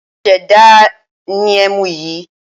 Ẹmu tí wọ́n ṣẹ̀ṣẹ̀ dá ni ẹmu yìí